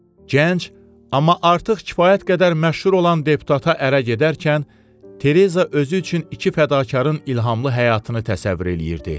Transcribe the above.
Gənc, amma artıq kifayət qədər məşhur olan deputata ərə gedərkən Tereza özü üçün iki fədakarın ilhamlı həyatını təsəvvür eləyirdi.